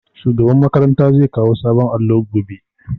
Shugaban makaranta zai kawo sabon allo gobe